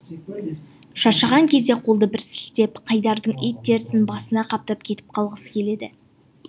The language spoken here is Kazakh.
шаршаған кезде қолды бір сілтеп қайдардың ит терісін басына қаптап кетіп қалғысы келеді